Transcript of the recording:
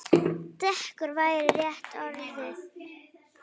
Dekur væri rétta orðið.